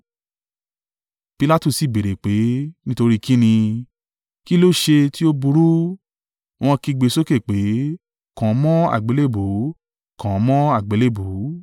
Pilatu sì béèrè pé, “Nítorí kí ni? Kí ló ṣe tí ó burú?” Wọ́n kígbe sókè pé, “Kàn án mọ́ àgbélébùú! Kàn án mọ́ àgbélébùú!”